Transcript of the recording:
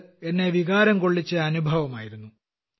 അതെന്നെ വികാരം കൊള്ളിച്ച അനുഭവമായിരുന്നു